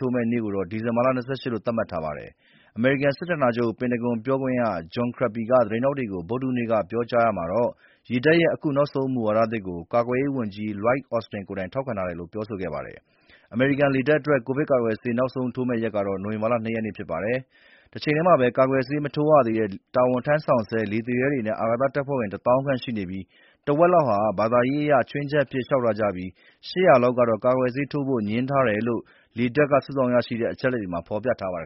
ထိုးမယ့်နေ့ကိုတော့ ဒီဇင်ဘာ ၂၈ လို့ သတ်မှတ်ထားပါတယ်။ အမေရိကန်စစ်ဌာနချုပ် ပင်တဂွန် ပြောခွင့်ရ John Kirby က သတင်းထောက်တွေကို ဗုဒ္ဒဟူးနေ့ကပြောကြားရာမှာတော့ ရေတပ်ရဲ့ အခု နောက်ဆုံးမူဝါဒသစ်ကို ကာကွယ်ရေးဝန်ကြီး Lloyd Austin က ထောက်ခံတယ်လို့ပြောဆိုခဲ့ပါတယ်။ လေတပ်အတွက် ကိုဗစ်ကာကွယ်ဆေးထိုးရက်နောက်ဆုံးရက်ကတော့ နိုဝင်ဘာ ၂ ရက်နေ့ ဖြစ်ပါတယ်။ တချိန်တည်းမှာပဲ ကာကွယ်ဆေးမထိုးရသေးတဲ့ တာဝန်ထမ်းဆောင်ဆဲ လေသူရဲ အာကာသတပ်ဖွဲ့ဝင် ၁၀,၀၀၀ ခန့်ရှိနေပြီး တဝက်လောက်ဟာ ဘာသာရေးအရ ချွင်းချက်အဖြစ်လျှောက်ထားကြပါတယ်။ ၈၀၀ လောက်ကတော့ ကာကွယ်ဆေးထိုးဖို့ ငြင်းထားတယ်လို့ လေတပ်က စုဆောင်းရရှိထားတဲ့ အချက်အလက်တွေမှာ ဖော်ပြထားပါတယ်